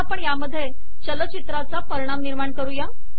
आता आपण यामध्ये चलचित्राचा परिणाम निर्माण करूयात